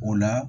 O la